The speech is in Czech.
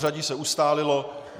Pořadí se ustálilo.